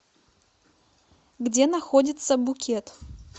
где находится букет